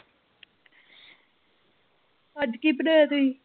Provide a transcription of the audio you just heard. ਅੱਜ ਕੀ ਬਣਾਇਆ ਸੀ।